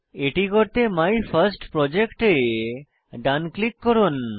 এটি করতে মাইফার্স্টপ্রজেক্ট এ ডান ক্লিক করুন